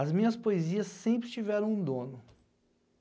As minhas poesias sempre tiveram um dono.